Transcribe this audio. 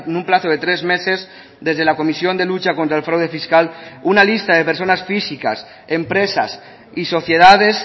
un plazo de tres meses desde la comisión de lucha contra el fraude fiscal una lista de personas físicas empresas y sociedades